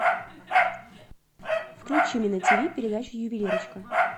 включи мне на тв передачу ювелирочка